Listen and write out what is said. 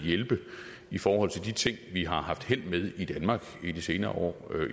hjælpe i forhold til de ting vi har haft held med i danmark i de senere år